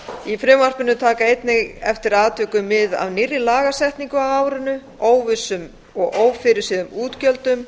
í frumvarpinu taka einnig eftir atvikum mið af nýrri lagasetningu á árinu óvissum og ófyrirséðum útgjöldum